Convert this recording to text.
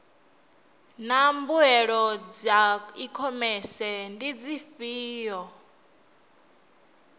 naa mbuelo dza ikhomese ndi dzifhio